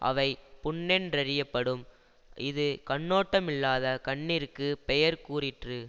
அவை புண்ணென்றறியப்படும் இது கண்ணோட்டமில்லாத கண்ணிற்குப் பெயர் கூறிற்று